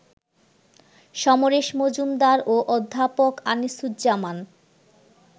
সমরেশ মজুমদার ও অধ্যাপক আনিসুজ্জামান